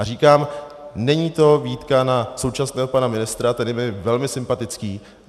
A říkám, není to výtka na současného pana ministra, který je mi velmi sympatický.